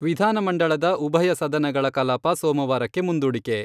ವಿಧಾನಮಂಡಳದ ಉಭಯ ಸದನಗಳ ಕಲಾಪ ಸೋಮವಾರಕ್ಕೆ ಮುಂದೂಡಿಕೆ.